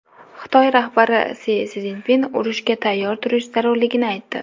Xitoy rahbari Si Szinpin urushga tayyor turish zarurligini aytdi.